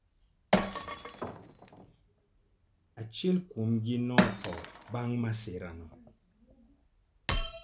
Achiel kuomgi notho bang' masirano.